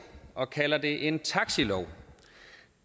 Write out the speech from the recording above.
og kalder det en taxilov